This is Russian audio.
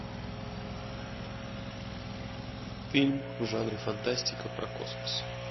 фильм в жанре фантастика про космос